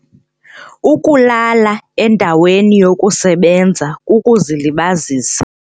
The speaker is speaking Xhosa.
Ukulala endaweni yokusebenza kukuzilibazisa.